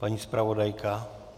Paní zpravodajka?